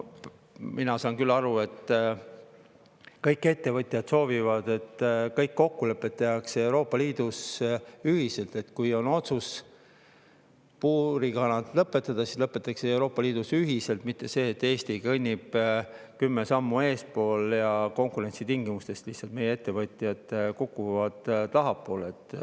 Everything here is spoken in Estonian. Mina saan küll aru, et kõik ettevõtjad soovivad, et kõik kokkulepped tehtaks Euroopa Liidus ühiselt: kui on otsus kanade puuris lõpetada, et siis see lõpetataks Euroopa Liidus ühiselt, mitte nii, et Eesti kõnnib kümme sammu eespool ja konkurentsitingimustes meie ettevõtjad lihtsalt kukuvad tahapoole.